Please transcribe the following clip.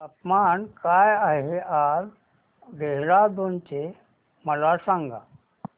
तापमान काय आहे आज देहराडून चे मला सांगा